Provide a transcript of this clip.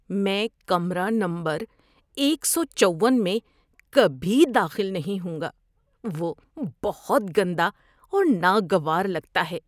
میں کمرہ نمبر ایک سو چون میں کبھی داخل نہیں ہوں گا، وہ بہت گندا اور ناگوار لگتا ہے۔